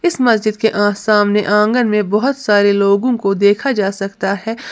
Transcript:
इस मस्जिद के अह सामने आंगन में बोहोत सारे लोगों को देखा जा सकता हैं।